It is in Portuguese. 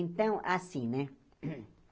Então, assim né